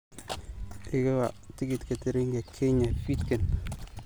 iga wac tigidhka tareenka Kenya fiidkan